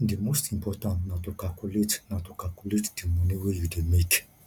di most important na to calculate na to calculate di moni wey you dey make